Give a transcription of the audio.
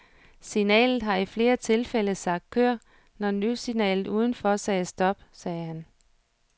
Signalet har i flere tilfælde sagt kør, når lyssignalet uden for sagde stop, sagde han.